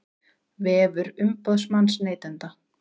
Vefur umboðsmanns neytenda